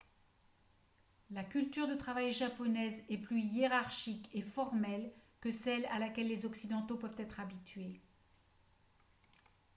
la culture de travail japonaise est plus hiérarchique et formelle que celle à laquelle les occidentaux peuvent être habitués